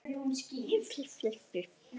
Þú byrjar að ganga um gólf.